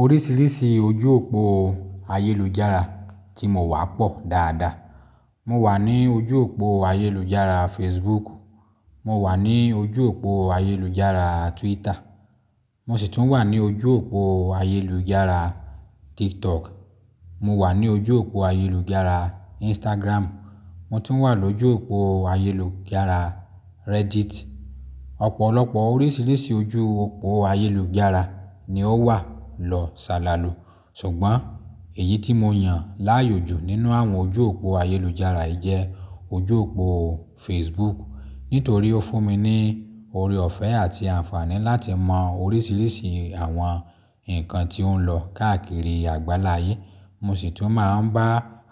Oríṣiríṣi ojú òpó ayélujára tí mo wà pọ̀ dáadáa. Mo wà ní ojú òpó ayélujára Facebook, mo wà ní ojú òpó ayélujára Twitter, mo sì tún wà ní ojú òpó ayélujára TikTok, mo wà ní ojú òpó ayélujára Instagram, mo tún wà lójú òpó ayélujára Reddit. Ọ̀pọ̀lọpọ̀ oríṣiríṣi ojú òpó ayélujára ni ó wà lọ sálàlú. Ṣùgbọ́n èyí tí mo yàn láàyòjú nínú àwọn ojú òpó ayélujára yii jẹ, ojú òpó Facebook, nítorí ó fún mi ní ore ọ̀fẹ́ àti àǹfààní láti mọ oríṣiríṣi àwọn nǹkan tí ó ń lọ káàkiri àgbáláyé. Mo sì tún máa ń bá